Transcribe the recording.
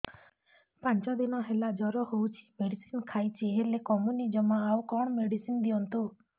ପାଞ୍ଚ ଦିନ ହେଲା ଜର ହଉଛି ମେଡିସିନ ଖାଇଛି ହେଲେ କମୁନି ଜମା ଆଉ କଣ ମେଡ଼ିସିନ ଦିଅନ୍ତୁ